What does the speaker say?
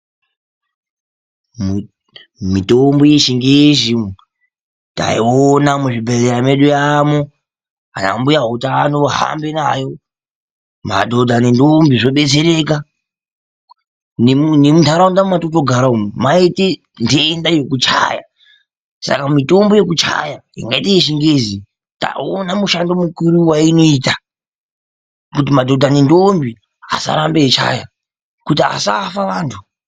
Mitombo yechingezi taiona muzvibhedhlera medu yamo, ana mbuya utano ahambe nayo madhodha nendombi zvodetsereka nemuntaraunda mwatinogara umu maite ndenda yekuchaya Saka mitombo yekuchaya yakaite yechingezi tauona mushando mukuru wayinoita kuti madhodha nendombi asarambe eichaya kuti asafa antu.